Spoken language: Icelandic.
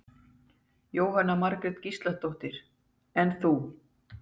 Jóhanna Margrét Gísladóttir: En þú?